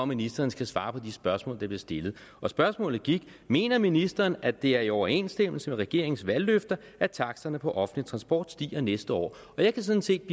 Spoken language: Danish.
ministeren skal svare på de spørgsmål der bliver stillet og spørgsmålet er mener ministeren at det er i overensstemmelse med regeringens valgløfter at taksterne på offentlig transport stiger næste år og jeg vil sådan set